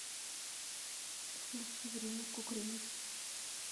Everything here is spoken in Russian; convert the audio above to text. включи время кукрыниксы